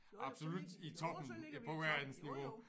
Absolut i toppen på verdensniveau